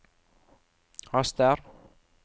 haster